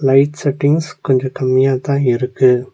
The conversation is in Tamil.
லைட் செட்டிங்ஸ் கொஞ்ஜோ கம்மியாதா இருக்கு.